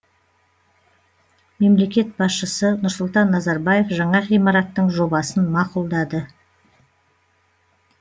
мемлекет басшысы нұрсұлтан назарбаев жаңа ғимараттың жобасын мақұлдады